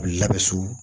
Labɛn su